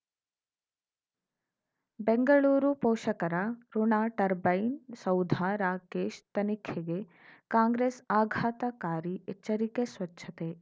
ಬೆಂಗಳೂರು ಪೋಷಕರಋಣ ಟರ್ಬೈನ್ ಸೌಧ ರಾಕೇಶ್ ತನಿಖೆಗೆ ಕಾಂಗ್ರೆಸ್ ಆಘಾತಕಾರಿ ಎಚ್ಚರಿಕೆ ಸ್ವಚ್ಛತೆ